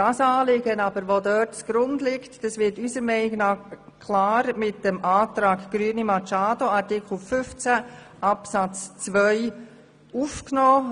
Das zugrundeliegende Anliegen wird aus unserer Sicht klar mit dem Antrag Grüne Machado zu Artikel 15 Absatz 2 aufgenommen.